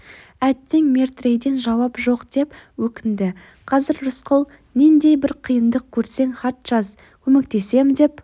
әттең метрейден жауап жоқ деп өкінді қазір рысқұл нендей бір қиындық көрсең хат жаз көмектесем деп